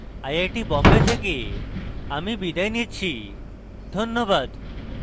I I T Bombay থেকে আমি বিদায় নিচ্ছি ধন্যবাদ